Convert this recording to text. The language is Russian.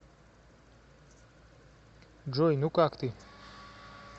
джой ну как ты